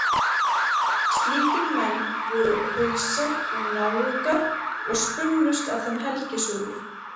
Slíkir menn voru Hausar og Náungar og spunnust af þeim helgisögur.